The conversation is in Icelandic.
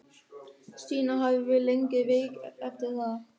Stína hafði verið lengi veik eftir það.